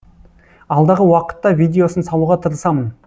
алдағы уақытта видеосын салуға тырысамын